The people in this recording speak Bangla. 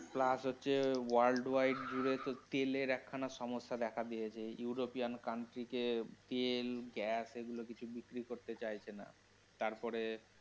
plus হচ্ছে worldwide জুড়ে তো তেলের এখানা সমস্যা দেখা দিয়েছে, ইউরোপিয়ান country কে তেল, gas এগুলো কিছু বিক্রি করতে চাইছে না. তারপরে